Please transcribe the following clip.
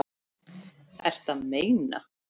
Ertu að meina.